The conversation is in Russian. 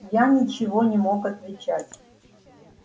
я ничего не мог отвечать